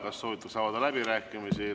Kas soovitakse avada läbirääkimisi?